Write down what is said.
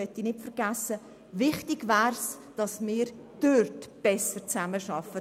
Es wäre wichtig, dort besser zusammenzuarbeiten.